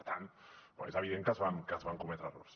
per tant és evident que es van cometre errors